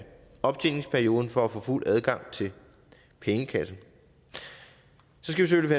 optjeningsperioden for at få fuld adgang til pengekassen så skal vi